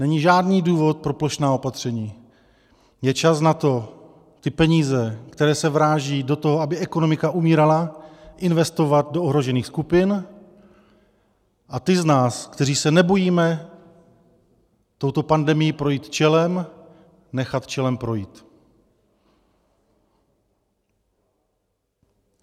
Není žádný důvod pro plošná opatření, je čas na to, ty peníze, které se vrážejí do toho, aby ekonomika umírala, investovat do ohrožených skupin, a ty z nás, kteří se nebojíme touto pandemií projít čelem, nechat čelem projít.